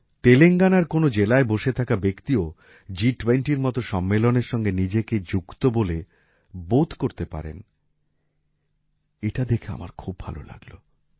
তেলেঙ্গানার কোনও জেলায় বসে থাকা ব্যক্তিও জিটুয়েন্টির মত সম্মেলনের সঙ্গে নিজেকে যুক্ত বলে বোধ করতে পারেন এটা দেখে আমার খুব ভালো লাগল